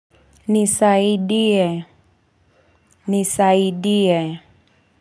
Ni saidie ni saidie.